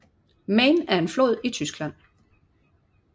Main er en flod i Tyskland